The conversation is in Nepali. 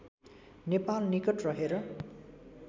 नेपाल निकट रहेर